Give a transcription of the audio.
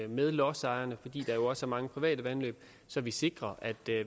med lodsejerne fordi der også er mange private vandløb så vi sikrer at